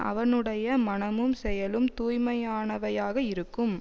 அவனுடைய மனமும் செயலும் தூய்மையானவையாக இருக்கும்